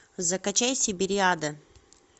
закачай сибириада